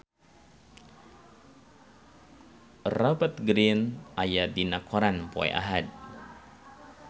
Rupert Grin aya dina koran poe Ahad